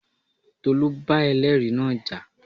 Tolú bá ẹlẹ́ẹ̀rí náà jà